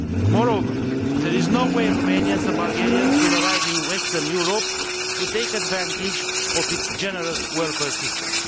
Moreover, there is no way Romanians and Bulgarians will arrive in Western Europe to take advantage of its generous welfare system.